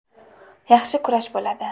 Yaxshi kurash bo‘ladi.